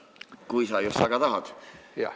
Kui sa just väga tahad.